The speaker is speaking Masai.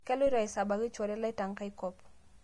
Kailoto aisabaki nchore lai tangai nkop